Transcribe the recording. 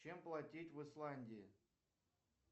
чем платить в исландии